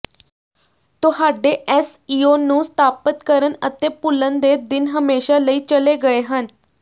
ਤੁਹਾਡੇ ਐਸਈਓ ਨੂੰ ਸਥਾਪਤ ਕਰਨ ਅਤੇ ਭੁੱਲਣ ਦੇ ਦਿਨ ਹਮੇਸ਼ਾ ਲਈ ਚਲੇ ਗਏ ਹਨ